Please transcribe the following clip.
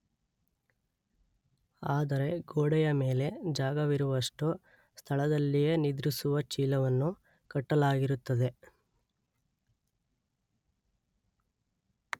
ಆದರೆ ಗೋಡೆಯ ಮೇಲೆ ಜಾಗವಿರುವಷ್ಟು ಸ್ಥಳದಲ್ಲಿಯೇ ನಿದ್ರಿಸುವ ಚೀಲವನ್ನು ಕಟ್ಟಲಾಗಿರುತ್ತದೆ.